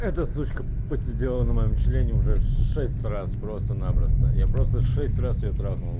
это сучка посидела на моем члене уже шесть раз просто-напросто я просто шесть раз её трахнул